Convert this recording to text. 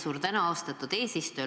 Suur tänu, austatud eesistuja!